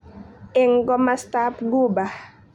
Eng komastab Ghuba.